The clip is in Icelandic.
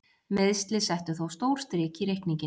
Meiðsli settu þó stór strik í reikninginn.